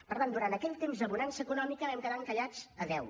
per tant durant aquell temps de bonança econòmica vam quedar encallats a deu